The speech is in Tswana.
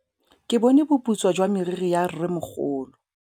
Ke bone boputswa jwa meriri ya rrêmogolo.